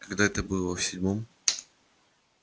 когда это было в седьмом